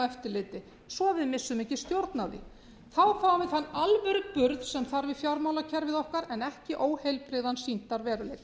eftirliti svo við missum ekki stjórn á því þá fáum við þann alvöruburð sem þarf í fjármálakerfið okkar en ekki óheilbrigðan sýndarveruleika